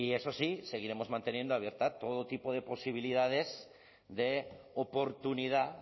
eso sí seguiremos manteniendo abierta todo tipo de posibilidades de oportunidad